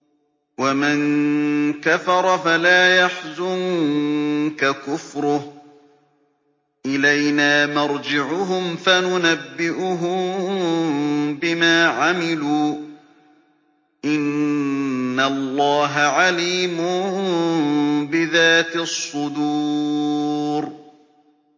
وَمَن كَفَرَ فَلَا يَحْزُنكَ كُفْرُهُ ۚ إِلَيْنَا مَرْجِعُهُمْ فَنُنَبِّئُهُم بِمَا عَمِلُوا ۚ إِنَّ اللَّهَ عَلِيمٌ بِذَاتِ الصُّدُورِ